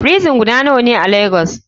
Frison guda nawane a lagos?